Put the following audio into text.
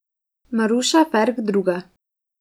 Maruša Ferk druga.